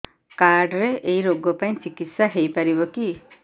card ରେ ଏଇ ରୋଗ ପାଇଁ ଚିକିତ୍ସା ହେଇପାରିବ କି